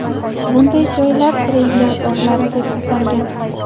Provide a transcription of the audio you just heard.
Bunday joylar treyler bog‘lari deb atalgan.